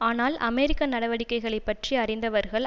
ஆனால் அமெரிக்க நடவடிக்கைகளை பற்றி அறிந்தவர்கள்